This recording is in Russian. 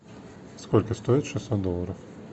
сколько стоит шестьсот долларов